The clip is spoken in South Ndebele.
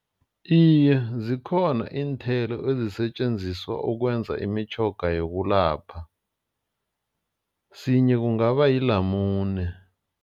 Iye, zikhona iinthelo ezisetjenziswa ukwenza imitjhoga yokulapha. Sinye kungaba yilamune.